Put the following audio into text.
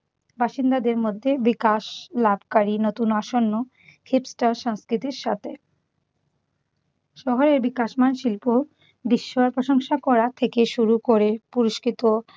বাসিন্দাদের মধ্যে বিকাশ লাভকারী নতুন আসন্ন খিপটা সংস্কৃতির সাথে। শহরের বিকাশমান শিল্প বিস্ময় প্রশংসা করা থেকে শুরু করে পুরস্কৃত